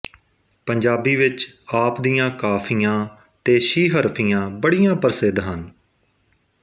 ਪੰਜਾਬੀ ਵਿੱਚ ਆਪ ਦੀਆਂ ਕਾਫੀਆਂ ਤੇ ਸੀਹਰਫ਼ੀਆਂ ਬੜੀਆਂ ਪ੍ਰਸਿੱਧ ਹਨ